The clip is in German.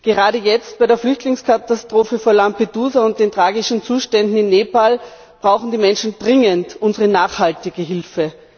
Gerade jetzt bei der Flüchtlingskatastrophe vor Lampedusa und den tragischen Zuständen in Nepal brauchen die Menschen dringend unsere nachhaltige Hilfe.